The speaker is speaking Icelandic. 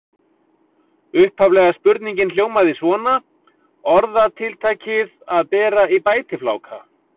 Upphaflega spurningin hljómaði svona: Orðatiltækið að bera í bætifláka.